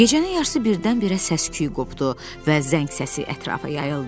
Gecənin yarısı birdən-birə səsküy qopdu və zəng səsi ətrafa yayıldı.